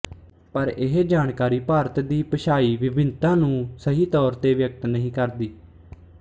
ਪਰ ਇਹ ਜਾਣਕਾਰੀ ਭਾਰਤ ਦੀ ਭਾਸ਼ਾਈ ਵਿਭਿੰਨਤਾ ਨੂੰ ਸਹੀ ਤੌਰ ਤੇ ਵਿਅਕਤ ਨਹੀਂ ਕਰਦੀ